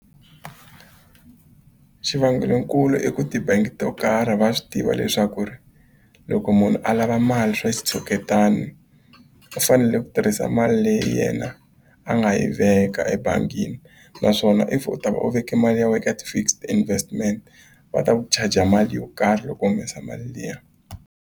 Xivangelonkulu i ku ti-bank to karhi va swi tiva leswaku ri loko munhu a lava mali swa xitshuketana u fanele ku tirhisa mali leyi yena a nga yi veka ebangini naswona if u ta va u veke mali ya wena ka ti-fixed investment va ta ku charger mali yo karhi loko u humesa mali liya.